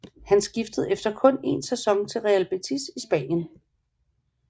Han skiftede efter kun én sæson til Real Betis i Spanien